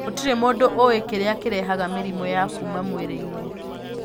Gũtirĩ mũndũ ũĩ kĩrĩa kĩrehaga mĩrimũ ya kuma mwĩrĩ-inĩ.